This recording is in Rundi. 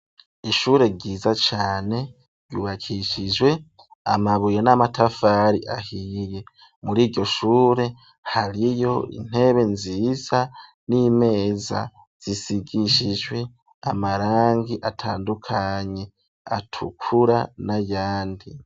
Ishure ryiza cane ryubakishijwe amabuye n'amatafari ahiye muri iryo shure hariyo intebe nziza n'imeza zisigishijwe amarangi atandukanye atukura n'ayandi.